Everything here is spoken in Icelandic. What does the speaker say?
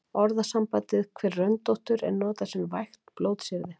Orðasambandið hver röndóttur er notað sem vægt blótsyrði.